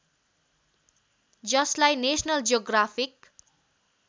जसलाई national geographic